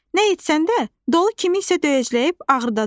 Nə etsən də, dolu kimisə döyəcləyib ağrıdacaq.